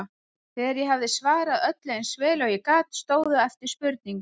Þegar ég hafði svarað öllu eins vel og ég gat stóðu eftir spurningar